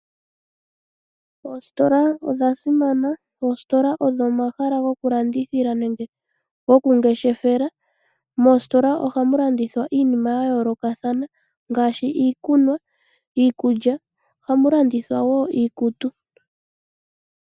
Oositola odhasimana. Oositola odho omahala gokulandithila nenge gokungeshefela. Moositola ohamulandithwa iinima yayoolokathana ngaashi, iikunwa, iikulya ohamu landithwa wo iikutu.